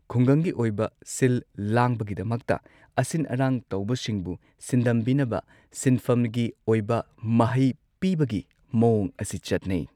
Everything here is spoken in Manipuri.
ꯈꯨꯡꯒꯪꯒꯤ ꯑꯣꯏꯕ ꯁꯤꯜ ꯂꯥꯡꯕꯒꯤꯗꯃꯛꯇ ꯑꯁꯤꯟ ꯑꯔꯥꯡ ꯇꯧꯕꯁꯤꯡꯕꯨ ꯁꯤꯟꯗꯝꯕꯤꯅꯕ ꯁꯤꯟꯐꯝꯒꯤ ꯑꯣꯏꯕ ꯃꯍꯩ ꯄꯤꯕꯒꯤ ꯃꯑꯣꯡ ꯑꯁꯤ ꯆꯠꯅꯩ꯫